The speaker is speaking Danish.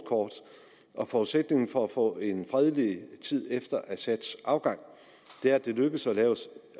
og forudsætningen for at få en fredelig tid efter assads afgang er at det lykkes at